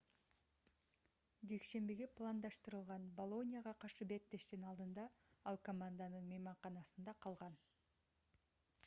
жекшембиге пландаштырылган болонияга каршы беттештин алдында ал команданын мейманканасында калган